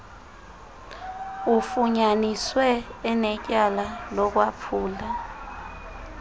ufunyaniswe enetyala lokwaphula